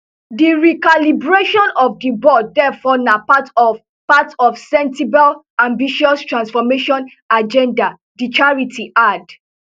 di recalibration of di board therefore na part of part of sentebale ambitious transformation agendadi charity add